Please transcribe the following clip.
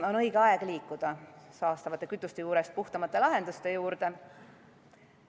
On õige aeg liikuda saastavate kütuste juurest puhtamate lahenduste juurde.